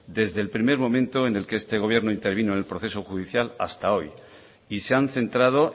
desde el primer momento en el que este gobierno intervino en el proceso judicial hasta hoy y se han centrado